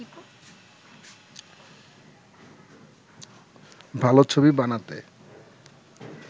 ভালো ছবি বানাতে